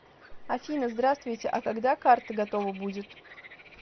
афина здравствуйте а когда карта готова будет